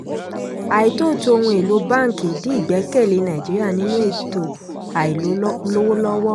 àìtóòtó ohun-èlò báńkì dín ìgbẹ́kẹ̀lé nàìjíríà nínú ètò àìlówóllọ́wọ́.